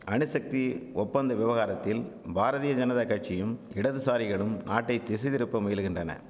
அணுசக்தி ஒப்பந்த விவகாரத்தில் பாரதிய ஜனதாகட்சியும் இடதுசாரிகளும் நாட்டை திசைதிருப்ப முயலுகின்றன